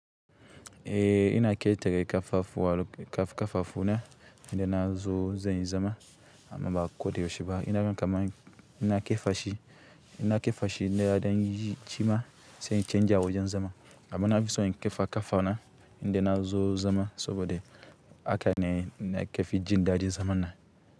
Eeh, ina ketere ƙafafu wa ƙafafuna idan na zo zanyi zama amma ba koda yaushe ba. Ina ga kamani in na kefashi, in na kifashi na ɗan yi shima sai canzawajen zama amman nafison in ƙafa ƙafana idan na zo zama saboda haka ne nake jin daɗin zama.